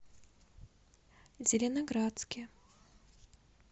зеленоградске